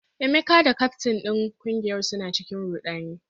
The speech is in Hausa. Emeka da kyaftin din kungiyar suna cikin rudani